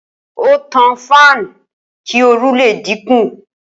Ó tan fáànù kí oru le dínkù.